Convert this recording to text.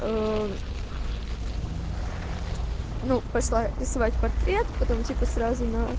аа ну пошла рисовать портрет потом типа сразу на